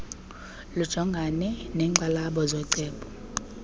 lujongane neenkxalabo zooceba